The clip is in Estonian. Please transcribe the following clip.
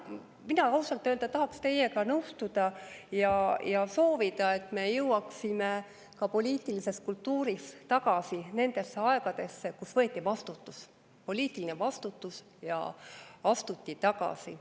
Mina ausalt öelda tahaks teiega nõustuda ja soovida, et me jõuaksime ka poliitilises kultuuris tagasi nendesse aegadesse, kus võeti vastutus, poliitiline vastutus, ja astuti tagasi.